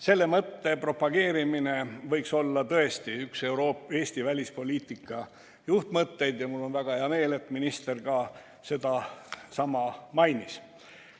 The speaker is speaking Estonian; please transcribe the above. Selle mõtte propageerimine võiks olla tõesti üks Eesti välispoliitika juhtmõtteid ja mul on väga hea meel, et minister ka sedasama mainis.